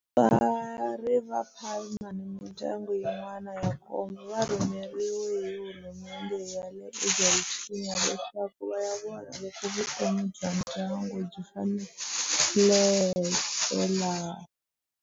Vatswari va Palma ni mindyangu yin'wana ya nkombo va rhumeriwe hi hulumendhe ya le Argentina leswaku va ya vona loko vutomi bya ndyangu byi faneleka laha.